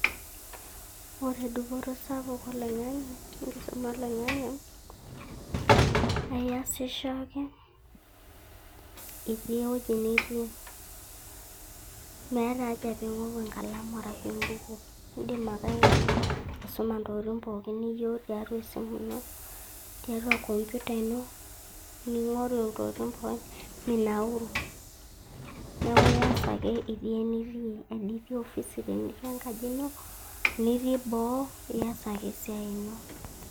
ore duputo sapuk oloing'ang'e enkisuma oloing'ang'e, eiyasisho ake iti eweuji niti meeta haja pingoru enkalamu arashu embuku, indim ake aisuma ntokititin pooki niyieu tiatua esimu ino tiatua komputer ino ningoru ntokitin pooki minauru niaku iyas ake iti eniti enitii ofisi tenitii enkajino teniti boo iyas ake esiai ino.